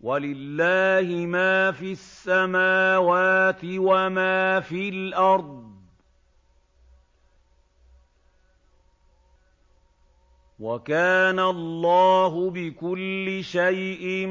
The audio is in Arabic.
وَلِلَّهِ مَا فِي السَّمَاوَاتِ وَمَا فِي الْأَرْضِ ۚ وَكَانَ اللَّهُ بِكُلِّ شَيْءٍ